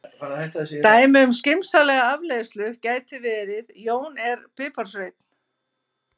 Dæmi um skynsamlega afleiðslu gæti verið: Jón er piparsveinn.